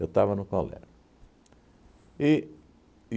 Eu estava no colégio. E